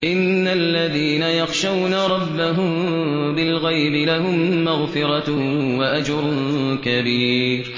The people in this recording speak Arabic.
إِنَّ الَّذِينَ يَخْشَوْنَ رَبَّهُم بِالْغَيْبِ لَهُم مَّغْفِرَةٌ وَأَجْرٌ كَبِيرٌ